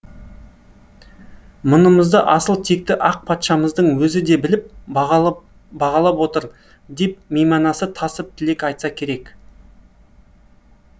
мұнымызды асыл текті ақ патшамыздың өзі де біліп бағалап отыр деп мейманасы тасып тілек айтса керек